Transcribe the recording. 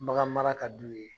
Baganmara ka di u ye